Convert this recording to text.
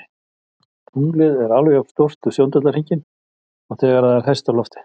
Tunglið er alveg jafn stórt við sjóndeildarhringinn og þegar það er hæst á lofti.